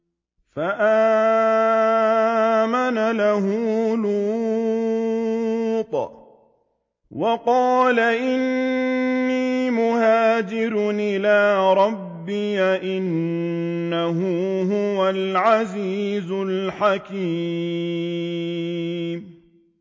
۞ فَآمَنَ لَهُ لُوطٌ ۘ وَقَالَ إِنِّي مُهَاجِرٌ إِلَىٰ رَبِّي ۖ إِنَّهُ هُوَ الْعَزِيزُ الْحَكِيمُ